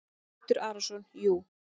Teitur Arason: Jú.